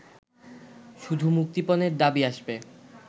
শুধু মুক্তিপণের দাবি আসবে